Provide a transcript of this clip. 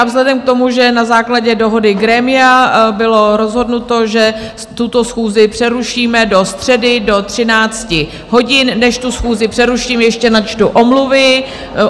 A vzhledem k tomu, že na základě dohody grémia bylo rozhodnuto, že tuto schůzi přerušíme do středy do 13 hodin, než tu schůzi přeruším, ještě načtu omluvy.